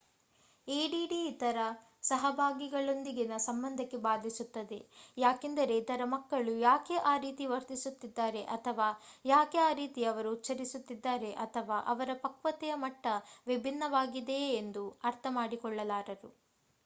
ADD ಇತರ ಸಹಭಾಗಿಗಳೊಂದಿಗಿನ ಸಂಬಂಧಕ್ಕೆ ಬಾಧಿಸುತ್ತದೆ ಯಾಕೆಂದರೆ ಇತರ ಮಕ್ಕಳು ಯಾಕೆ ಆ ರೀತಿ ವರ್ತಿಸುತ್ತಿದ್ದಾರೆ ಅಥವಾ ಯಾಕೆ ಆ ರೀತಿ ಅವರು ಉಚ್ಛರಿಸುತ್ತಿದ್ದಾರೆ ಅಥವಾ ಅವರ ಪಕ್ವತೆಯ ಮಟ್ಟ ವಿಭಿನ್ನವಾಗಿದೆಯೇ ಎಂದು ಅರ್ಥ ಮಾಡಿಕೊಳ್ಳಲಾರರು